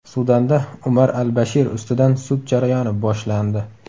Sudanda Umar al-Bashir ustidan sud jarayoni boshlandi .